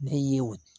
Ne ye